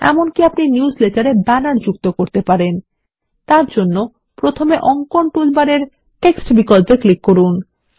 এমনকি আপনি নিউজলেটারে ব্যানার যুক্ত করতে পারেন তারজন্য প্রথমে অঙ্কন টুলবারের টেক্সট বিকল্পে ক্লিক করুন